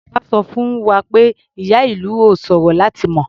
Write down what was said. Bàbá sọ fún wa pé ìyá-ìlù ò ṣòro láti mọ.